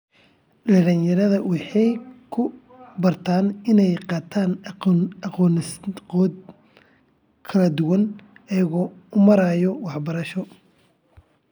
Dhallinyarada waxay ku bartaan inay qaataan aqoonsigooda kala duwan iyagoo u maraya waxbarasho.